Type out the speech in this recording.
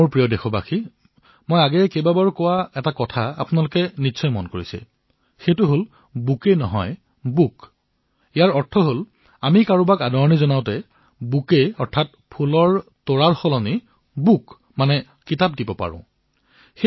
মোৰ মৰমৰ দেশবাসীসকল আপোনালোকে মোৰ মুখেৰে চাগে কেইবাবাৰো শুনিছে বুকে নহয় বুক মই আহ্বান জনাইছিলো যে আমি স্বাগতসৎকাৰ ফুলৰ পৰিৱৰ্তে কিতাপেৰে কৰিব নোৱাৰোনে